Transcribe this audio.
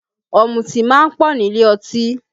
Ọ̀mùtí máa ń pọ̀ nílé ọtí